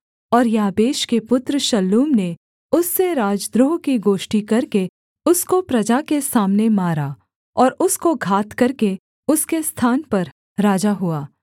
और याबेश के पुत्र शल्लूम ने उससे राजद्रोह की गोष्ठी करके उसको प्रजा के सामने मारा और उसको घात करके उसके स्थान पर राजा हुआ